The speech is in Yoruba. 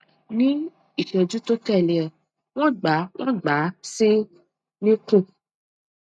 ní ìṣẹjú tó tẹlé e wọn gbà wọn gbà á sí nikun